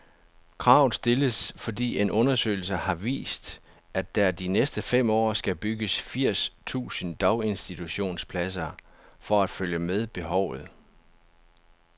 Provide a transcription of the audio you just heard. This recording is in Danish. Kravet stilles, fordi en undersøgelse har vist, at der de næste fem år skal bygges firs tusind daginstitutionspladser for at følge med behovet.